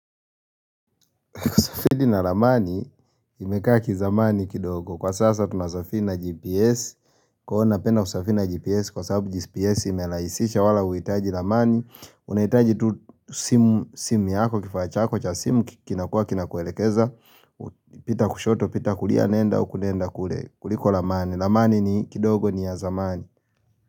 Fidi na ramani imekaa kizamani kidogo. Kwa sasa tunasafiri na GPS. Kwa waonapenda kusafi na GPS kwa sababu GPS imelaisisha wala huitaji ramani. Unahitaji tu simu simu yako kifaa chako cha simu kinakua kinakuelekeza. Pita kushoto pita kulia nenda huku nenda kule kuliko ramani. Ramani ni kidogo ni ya zamani.